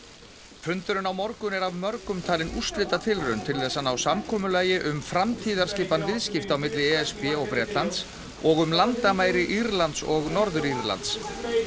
fundurinn á morgun er af mörgum talinn úrslitatilraun til þess að ná samkomulagi um framtíðarskipan viðskipta á milli e s b og Bretlands og um landamæri Írlands og Norður Írlands